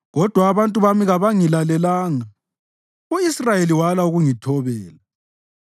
Kodwa abantu bami kabangilalelanga; u-Israyeli wala ukungithobela.